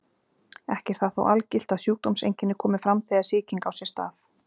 Ekki er það þó algilt að sjúkdómseinkenni komi fram þegar sýking á sér stað.